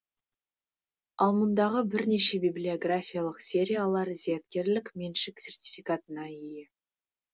ал мұндағы бірнеше библиографиялық сериялар зияткерлік меншік сертификатына ие